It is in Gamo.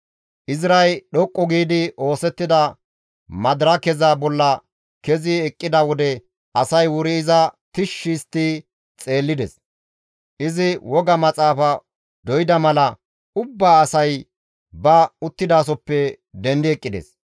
Izray dhoqqu giidi oosettida madirakeza bolla kezi eqqida wode asay wuri iza tishshi histti xeellides; izi woga maxaafa doyda mala ubba asay ba uttidasohoppe dendi eqqides.